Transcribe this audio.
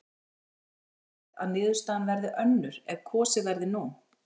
En telja menn líklegt að niðurstaðan verði önnur ef kosið verði nú?